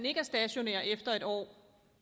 ikke er stationær efter en år